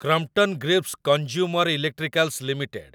Crompton Greaves consumer electricals limited